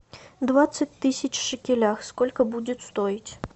двадцать тысяч в шекелях сколько будет стоить